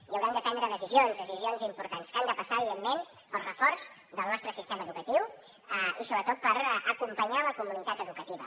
i haurem de prendre decisions decisions importants que han de passar evidentment pel reforç del nostre sistema educatiu i sobretot per acompanyar la comunitat educativa